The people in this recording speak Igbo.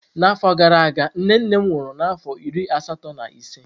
N'afọ gara aga, nne nne m nwụrụ n'afọ iri asatọ na ise.